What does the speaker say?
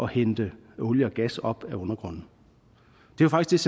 hente olie og gas op af undergrunden det er faktisk